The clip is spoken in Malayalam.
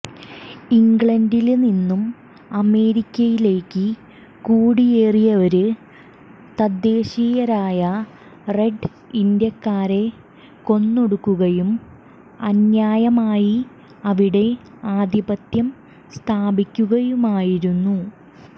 ഇംഗ്ലണ്ടില്നിന്നും അമേരിക്കയിലേക്ക് കുടിയേറിയവര് തദ്ദേശീയരായ റെഡ് ഇന്ത്യക്കാരെ കൊന്നൊടുക്കുകയും അന്യായമായി അവിടെ ആധിപത്യം സ്ഥാപിക്കുകയുമായിരുന്നു